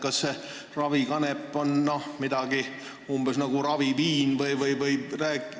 Kas see ravikanep on midagi umbes sellist nagu raviviin?